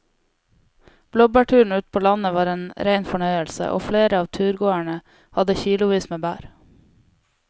Blåbærturen ute på landet var en rein fornøyelse og flere av turgåerene hadde kilosvis med bær.